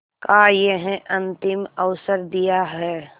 का यह अंतिम अवसर दिया है